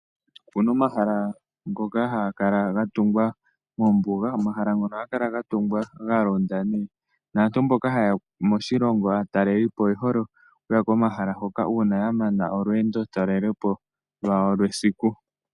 Ope na omahala ngoka haga kala ga tungwa moombuga. Omahala ngano ohaga kala ga tungwa ga londa naantu mboka haye ya moshilongo aatalelipo oye hole okuya komahala hoka uuna ya mana olweendotalelepo lwawo lwesiku.